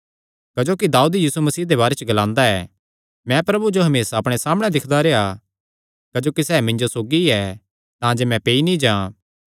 क्जोकि दाऊद यीशु मसीह दे बारे च ग्लांदा ऐ मैं प्रभु जो हमेसा अपणे सामणै दिक्खदा रेह्आ क्जोकि सैह़ मिन्जो सौगी ऐ तांजे मैं पेई नीं जां